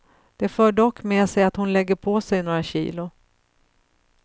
Det för dock med sig att hon lägger på sig några kilo.